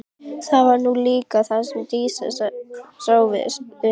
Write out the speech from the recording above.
Það var nú líka það sem Dísa sá við hann.